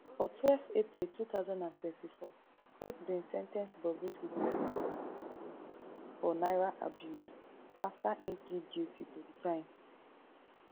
for twelve april two thousand and twenty-four court bin sen ten ce bobrisky to six months in prison for naira abuse afta im plead guilty to di crime